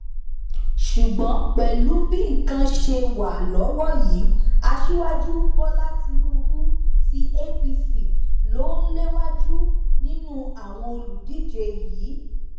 ṣùgbọn pẹlú bí nǹkan ṣe wà lọwọ yìí aṣíwájú bọlá tínúbù tí apc lò ń léwájú nínú àwọn olùdíje yìí